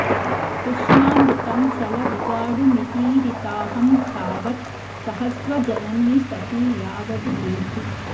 कृष्णामृतं चल विगाढुमितीरिताहं तावत् सहस्व रजनी सखि यावद् एति